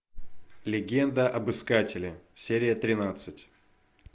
легенда об искателе серия тринадцать